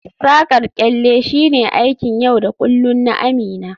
Saƙar kyalle shine aikin yau da kullun na Amina